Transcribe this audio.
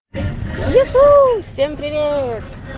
ю ху всем привет